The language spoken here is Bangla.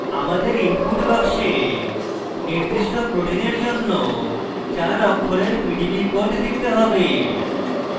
আমাদের input box নির্দিষ্ট protein জন্য চার অক্ষরের pdb code লিখতে have